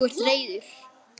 Þú ert reiður.